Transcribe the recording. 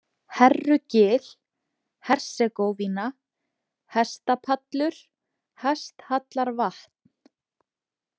Herrugil, Hersegóvína, Hestapallur, Hesthallarvatn